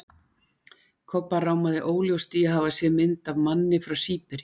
Kobba rámaði óljóst í að hafa séð mynd af manni frá SÍBERÍU.